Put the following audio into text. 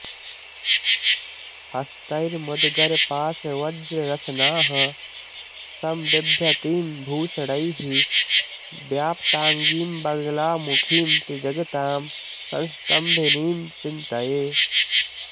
हस्तैर्मुद्गरपाशवज्ररशनाः सम्बिभ्रतीं भूषणैः व्याप्ताङ्गीं बगलामुखीं त्रिजगतां संस्तम्भिनीं चिन्तये